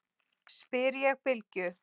spyr ég Bylgju.